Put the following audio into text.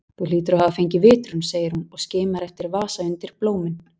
Þú hlýtur að hafa fengið vitrun, segir hún og skimar eftir vasa undir blómin.